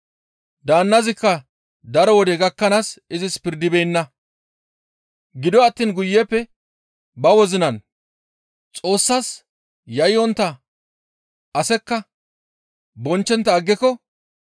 «Daannazikka daro wode gakkanaas izis pirdibeenna; gido attiin guyeppe ba wozinan, ‹Xoossas yayyontta asekka bonchchontta aggiko,